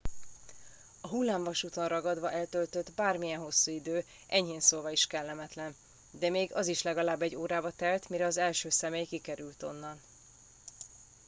"a hullámvasúton ragadva eltöltött bármilyen hosszú idő enyhén szólva is kellemetlen de még az is legalább egy órába telt mire az első személy kikerült onnan. "